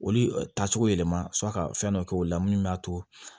Olu taacogo yɛlɛma sɔrɔ a ka fɛn dɔ kɛ olu la minnu b'a to